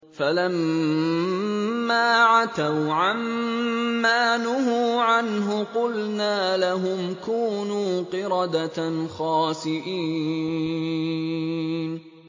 فَلَمَّا عَتَوْا عَن مَّا نُهُوا عَنْهُ قُلْنَا لَهُمْ كُونُوا قِرَدَةً خَاسِئِينَ